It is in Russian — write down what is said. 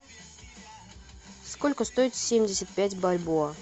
сколько стоит семьдесят пять бальбоа